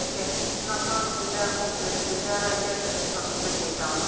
Belə ki, Natanz nüvə kompleksində radiasiya sızması qeydə alınıb.